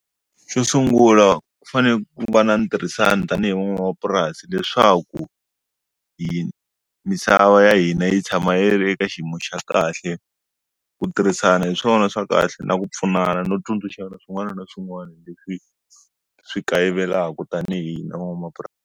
Xo sungula ku fanele ku va na ni tirhisana tanihi n'wanamapurasi leswaku hi misava ya hina yi tshama yi ri eka xiyimo xa kahle ku tirhisana hi swona swa kahle na ku pfunana no tsundzuxana swin'wana na swin'wana leswi swi kayivelaka tanihi n'wanamapurasi.